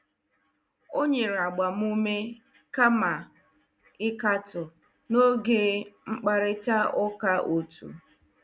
O nyere agbamume kama ịkatọ n'oge mkparịta ụka otu.